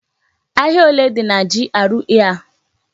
Ahia ole dị na GRA a?